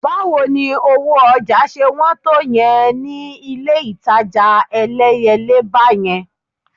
Báwo ni owó ọjà ṣe wọ́n tó yẹn ni ilé-ìtajà Ẹlẹ́yẹlé báyẹn?